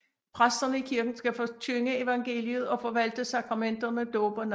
Præsterne i kirken skal forkynde evangeliet og forvalte sakramenterne dåb og nadver